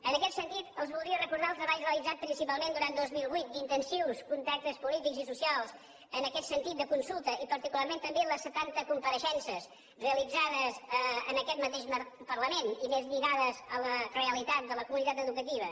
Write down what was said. en aquest sentit els voldria recordar el treball realitzat principalment durant dos mil vuit d’intensius contactes polítics i socials en aquest sentit de consulta i particularment també les setanta compareixences realitzades en aquest mateix parlament i més lligades a la realitat de la comunitat educativa